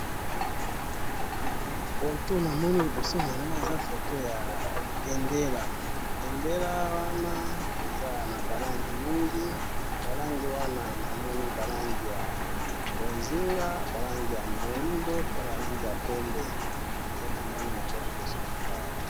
Photo namoni liboso na ngai eza photo ya bendela, bendela wana eza naba langi mingi, ba langi wana namoni ba langi bozinga, ba langi ya moindo pe ba langi ya pembe, nde namoni liboso na ngai awa.